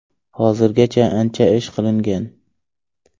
Hozirgacha ancha ish qilingan.